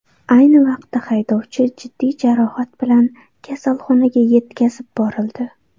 Ayni vaqtda haydovchi jiddiy jarohat bilan kasalxonaga yetkazib borildi.